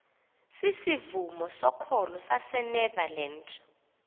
sisivumo sokholo sasenederland